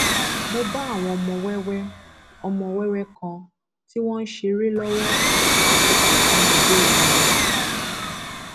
mo bá àwọn ọmọ wẹwẹ ọmọ wẹwẹ kan tí wọn ń ṣeré lọwọ lákòókò tí mo délé wọn